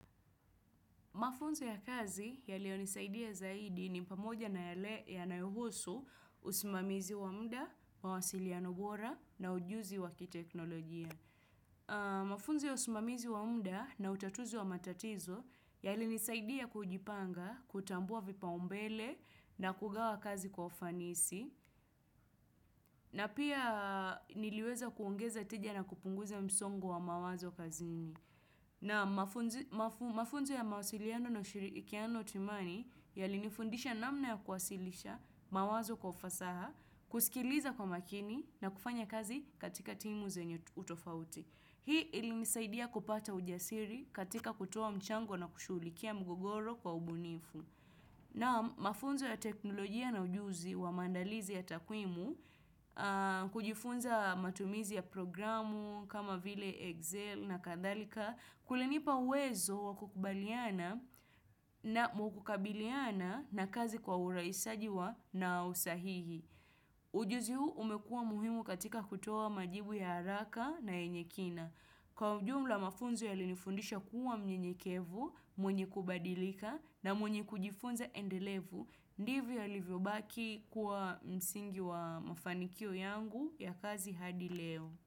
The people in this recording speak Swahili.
Mafunzo ya kazi yaliyo nisaidia zaidi ni pamoja na yale ya nayohusu usimamizi wa mda, mawasiliano bora na ujuzi wakiteknolojia. Mafunzo ya usimamizi wa mda na utatuzi wa matatizo yali nisaidia kujipanga, kutambua vipa umbele na kugawa kazi kwa ufanisi na pia niliweza kuongeza tija na kupunguza msongo wa mawazo kazini. Naam mafunzo ya mawasiliano na ushirikiano timani yali nifundisha namna ya kuwasilisha mawazo kwa ufasaha, kusikiliza kwa makini na kufanya kazi katika timu zenye utofauti. Hii ili nisaidia kupata ujasiri katika kutoa mchango na kushulikia mgogoro kwa ubunifu. Naam mafunzo ya teknolojia na ujuzi wa maandalizi ya takwimu, kujifunza matumizi ya programu kama vile Excel na kadhalika, kulinipa uwezo wa kukubaliana na mwukukabiliana na kazi kwa uraisajiwa na usahihi. Ujuzi huu umekuwa muhimu katika kutoa majibu ya haraka na yenye kina. Kwa ujumla mafunzo ya linifundisha kuwa mnyenyekevu, mwenye kubadilika na mwenye kujifunza endelevu, ndivyo ya livyobaki kuwa msingi wa mafanikio yangu ya kazi hadi leo.